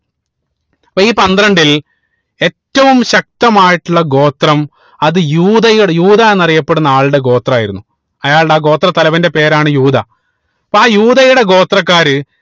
അപ്പൊ ഈ പന്ത്രണ്ടിൽ ഏറ്റവും ശക്തമായിട്ടുള്ള ഗോത്രം അത് യൂതകളുടെ യൂത എന്നറിയപ്പെടുന്ന ആളുടെ ഗോത്രമായിരുന്നു അയാളുടെ ആ ഗോത്ര തലവന്റെ പേരാണ് യൂത അപ്പൊ ആ യൂതയുടെ ഗോത്രക്കാര്